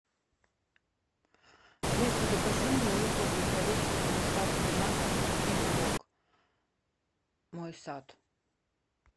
алиса закажи мне луковые колечки с доставкой на дом и сок мой сад